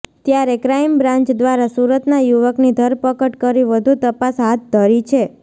ત્યારે crime branch દ્રારા સુરતના યુવકની ધરપકડ કરી વધુ તપાસ હાથ ધરી છે